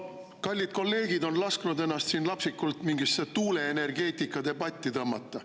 Kallid kolleegid on lasknud ennast siin lapsikult mingisse tuuleenergeetikadebatti tõmmata.